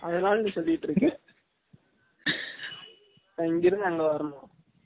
அதுனால னீ சொல்லிட்டு இருக்க, நா இங்க இருந்து அங்க வரனும்